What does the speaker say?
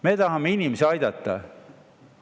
Me tahame inimesi aidata.